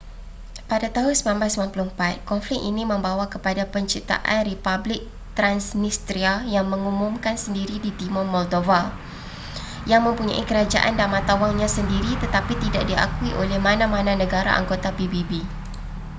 pada tahun 1994 konflik ini membwa kepada penciptaan republik transnistria yang mengumumkan sendiri di timur moldova yang mempunyai kerajaan dan mata wangnya sendiri tetapi tidak diakui oleh mana-mana negara anggota pbb